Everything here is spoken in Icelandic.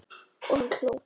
Og hann hló.